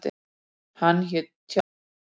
Hann hét Tjaldur.